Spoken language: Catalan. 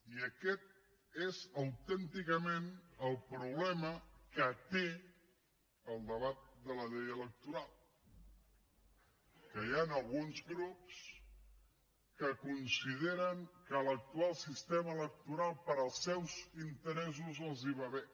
i aquest és autènticament el problema que té el debat de la llei electoral que hi han alguns grups que consideren que l’actual sistema electoral per als seus interessos els va bé